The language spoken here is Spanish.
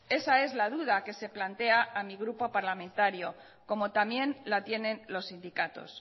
esa es la duda que se plantea mi grupo parlamentario como también la tienen los sindicatos